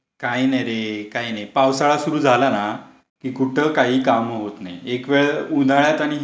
काही नाही रे, काही नाही. पावसाळा सुरू झाला ना की कुठे काही काम होत नाही. एक वेळ उन्हाळ्यात आणि हिवाळ्यात तरी हे लोक विजेचे लोक कर्मचारी काम करतील.